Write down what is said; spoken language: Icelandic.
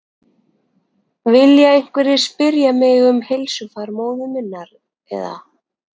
Vilja einhverjir spyrja mig um heilsufar móður minnar eða?